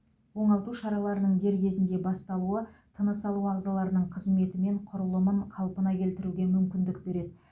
оңалту шараларының дер кезінде басталуы тыныс алу ағзаларының қызметі мен құрылымын қалпына келтіруге мүмкіндік береді